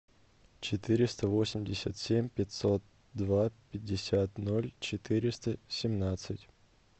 четыреста восемьдесят семь пятьсот два пятьдесят ноль четыреста семнадцать